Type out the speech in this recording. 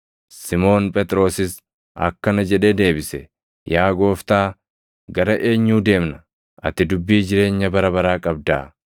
Simoon Phexrosis akkana jedhee deebise; “Yaa Gooftaa, gara eenyuu deemna? Ati dubbii jireenya bara baraa qabdaa.